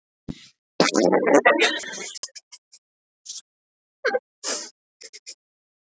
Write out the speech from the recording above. Óli, lækkaðu í hátalaranum.